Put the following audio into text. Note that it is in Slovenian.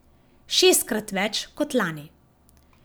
Šestkrat več kot lani.